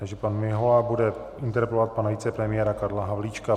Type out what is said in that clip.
Takže pan Mihola bude interpelovat pana vicepremiéra Karla Havlíčka.